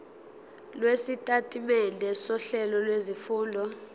lwesitatimende sohlelo lwezifundo